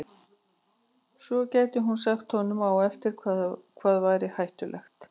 Og svo gæti hún sagt honum á eftir hvað væri hættulegt.